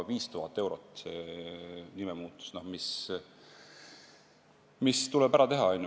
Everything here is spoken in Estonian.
See nimemuutus maksab ca 5000 eurot.